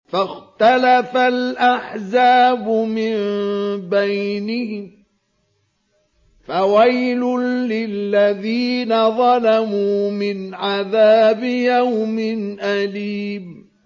فَاخْتَلَفَ الْأَحْزَابُ مِن بَيْنِهِمْ ۖ فَوَيْلٌ لِّلَّذِينَ ظَلَمُوا مِنْ عَذَابِ يَوْمٍ أَلِيمٍ